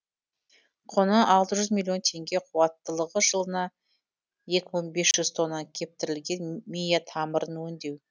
құны алты жүз миллион теңге қуаттылығы жылына екі мың бес жүз тонна кептірілген мия тамырын өңдеу